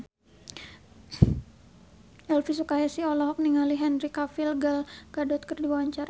Elvy Sukaesih olohok ningali Henry Cavill Gal Gadot keur diwawancara